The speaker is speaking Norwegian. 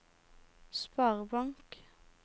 sparebank